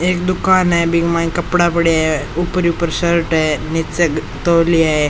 एक दुकान है बि के माइन कपड़ा पड़ा है ऊपर ऊपर शर्ट है नीच तोलिया है।